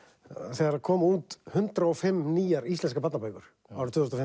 þegar komu út hundrað og fimm nýjar íslenskar barnabækur árið tvö þúsund